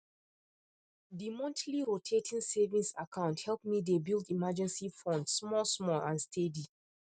the monthly rotating savings account help me dey build emergency fund smallsmall and steady